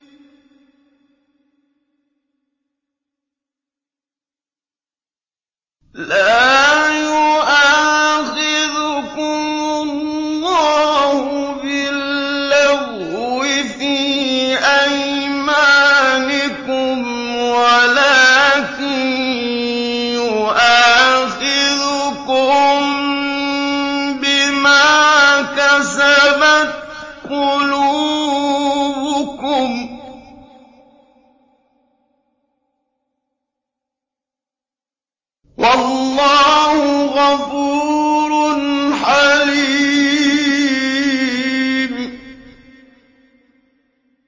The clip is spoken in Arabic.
لَّا يُؤَاخِذُكُمُ اللَّهُ بِاللَّغْوِ فِي أَيْمَانِكُمْ وَلَٰكِن يُؤَاخِذُكُم بِمَا كَسَبَتْ قُلُوبُكُمْ ۗ وَاللَّهُ غَفُورٌ حَلِيمٌ